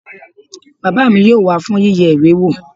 Bàbá mi yóò wá fún yíyẹ ìwé wò